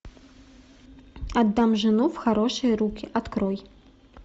отдам жену в хорошие руки открой